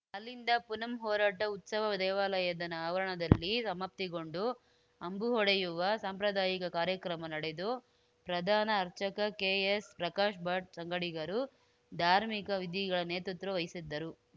ಅಲ್ಲಿಂದ ಪುನಂ ಹೊರಟ ಉತ್ಸವ ದೇವಾಲಯದ ಆವರಣದಲ್ಲಿ ಸಮಾಪ್ತಿಗೊಂಡು ಅಂಬು ಹೊಡೆಯುವ ಸಾಂಪ್ರದಾಯಿಕ ಕಾರ್ಯಕ್ರಮ ನಡೆದು ಪ್ರಧಾನ ಅರ್ಚಕ ಕೆಎಸ್‌ಪ್ರಕಾಶ್‌ ಭಟ್‌ ಸಂಗಡಿಗರು ಧಾರ್ಮಿಕ ವಿಧಿಗಳ ನೇತೃತ್ವ ವಹಿಸಿದ್ದರು